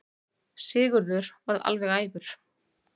Sigurður varð alveg æfur.